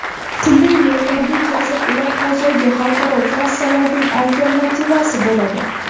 Pulli yo‘llarga kelsak, ular hozirgi xalqaro trassalarning alternativasi bo‘ladi.